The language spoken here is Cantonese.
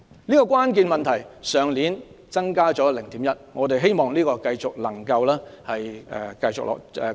這個比率去年增加了 0.1， 我們希望這個比率繼續能有改善。